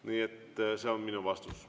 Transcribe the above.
Nii et see on minu vastus.